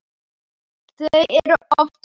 Þau eru oftast kölluð